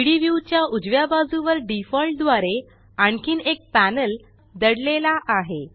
3डी व्यू च्या उजव्या बाजुवर डिफॉल्ट द्वारे आणखीन एक पॅनल लपलेले आहे